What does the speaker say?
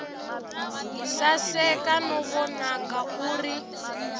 saseka no vonaka u ri